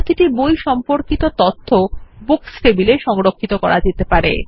প্রতিটি বই সম্পর্কিত তথ্য বুকস টেবিলে সংরক্ষিত করা যেতে পারে